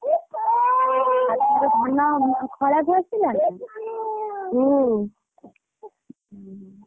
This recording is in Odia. ଆଉ ତାହେଲେ ଧାନ ଖଳାକୁ ଆସି ଉହୁଁ।